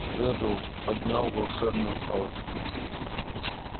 реддл поднял волшебную палочку